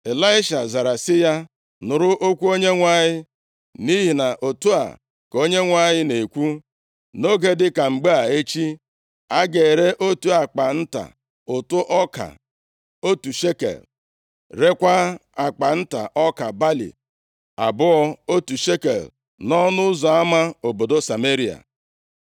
Ịlaisha zara sị ya, + 7:1 \+xt 2Ez 6:24-29\+xt* “Nụrụ okwu Onyenwe anyị. Nʼihi na otu a ka Onyenwe anyị na-ekwu, + 7:1 \+xt 2Ez 7:18-19\+xt* Nʼoge dịka mgbe a echi, a ga-ere otu akpa nta ụtụ ọka otu shekel, rekwaa akpa nta ọka balị abụọ otu shekel nʼọnụ ụzọ ama obodo Sameria.”